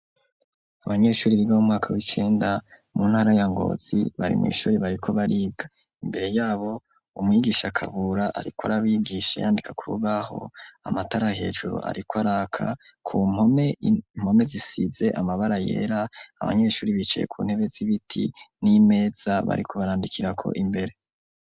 Abanyeshure biga mu mwaka w'icenda mu ntara ya Ngozi, bari mw'ishure bariko bariga, imbere yabo umwigisha Kabura, ariko arabigisha yandika k'urubaho, amatara hejuru ariko araka ku mpome zisize amabara yera, abanyeshure bicaye ku ntebe z'ibiti n'imeza bariko barandikirako imbere.